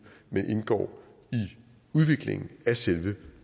men indgår i udviklingen af selve